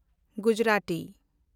Gujarati